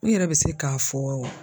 N yɛrɛ bɛ se k'a fɔ